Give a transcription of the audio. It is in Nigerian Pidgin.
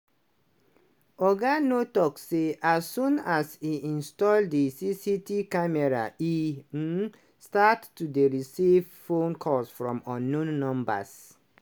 oga nuur tok say as soon as e install di cctv camera e um start to dey receive phone calls from unknown numbers.